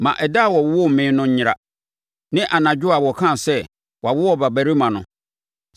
“Ma ɛda a wɔwoo me no nyera, ne anadwo a wɔkaa sɛ, ‘Wɔawo ɔbabarima no!’